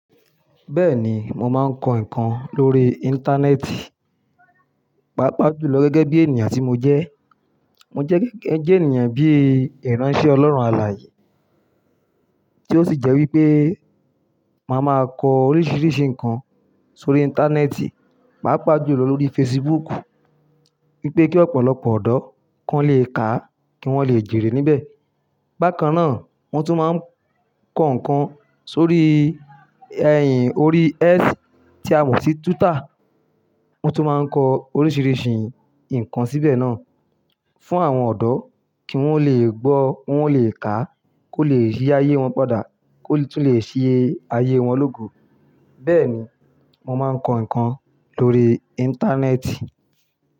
Bẹ́ẹ̀ni, mo máa ń kọ nǹkan lórí Íńtánẹ́ẹ̀tì, pàápàá jùlọ gẹ́gẹ́ bí ènìyàn tí mo jẹ́. Mo jẹ́ gẹ́gẹ́ bí ènìyàn bíi ìránṣẹ́ Ọlọ́run alààyè, tí ó sì jẹ́ wípé màá máa kọ oríṣiríṣi nǹkan sórí Íńtánẹ́ẹ̀tì, pàápàá jùlọ lórí fesibúùkù wípé kí ọ̀pọ̀lọpọ̀ ọ̀dọ́ kí wọ́n le ká, kí wọ́n le jèrè níbẹ̀. Bákan náà, wọ́n tún máa ń kọ nǹkan sórí ẹ̀yìn orí X tí a mọ̀ sí túítà. Mọ tún máa ń kọ oríṣiríṣi nǹkan síbẹ̀ náà fún àwọn ọ̀dọ́ kí wọ́n ó lè gbó, wọ́n ó lè ká, kó lè ṣe ayé wọn padà, kó lè tún ṣe ayé wọn lógo. Bẹ́ẹ̀ni, mo máa ń kọ nǹkan lórí Íńtánẹ́ẹ̀tì.